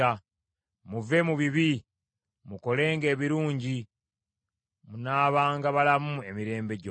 Muve mu bibi, mukolenga ebirungi, munaabanga balamu emirembe gyonna.